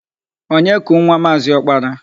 Onye ku nwa Maazị Ọkpara?